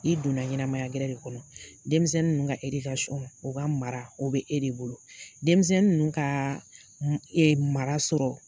I donna ɲɛnamaya gɛrɛ de kɔnɔ. Denmisɛnnin ninnu ka , u ka mara o bɛ e de bolo, denmisɛnnin ninnu ka mara sɔrɔ